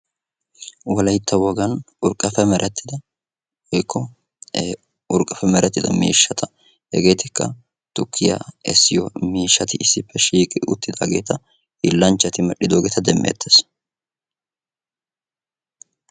Wolaytta wogan urqqappe merettidda hiillanchchatti medhdhiddo miishshatta demeetees.